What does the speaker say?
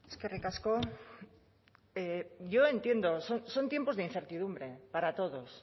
eskerrik asko yo entiendo son tiempos de incertidumbre para todos